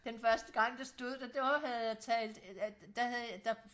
den første gang der stod det der havde jeg talt der havde jeg der